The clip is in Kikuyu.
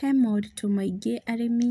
He moritũ maingĩ arĩmi